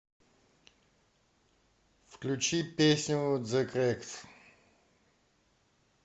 включи песню зе крэкс